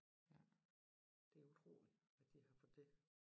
Ja det utrolig at de har fået det